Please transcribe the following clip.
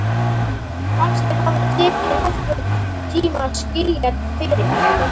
Kannski hafði tekið nokkurn tíma að skilja fyrirmælin.